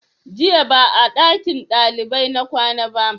Jiya ba a ɗakin ɗalibai na kwana ba